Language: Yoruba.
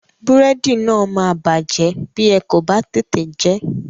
Búrẹ́dì náà máa bàjẹ́ bí ẹ kò bá tètè jẹ ẹ́.